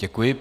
Děkuji.